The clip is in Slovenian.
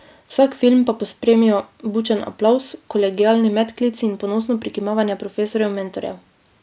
Vsak film pa pospremijo bučen aplavz, kolegialni medklici in ponosno prikimavanje profesorjev mentorjev.